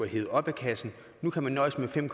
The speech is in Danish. hevet op af kassen nu kan man nøjes med fem